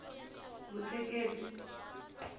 vutleketli